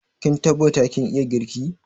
Kin tabbatar kin iya girki?